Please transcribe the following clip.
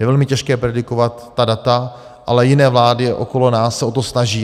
Je velmi těžké predikovat ta data, ale jiné vlády okolo nás se o to snaží.